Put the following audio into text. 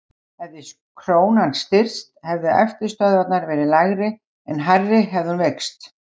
Hefði krónan styrkst hefðu eftirstöðvarnar verið lægri en hærri hefði hún veikst.